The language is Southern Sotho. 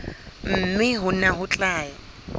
mme hona ho tla ya